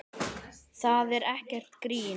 Það er ekkert grín.